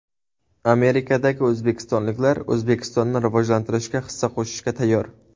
Amerikadagi o‘zbekistonliklar O‘zbekistonni rivojlantirishga hissa qo‘shishga tayyor .